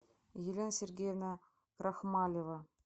елена сергеевна рахмалева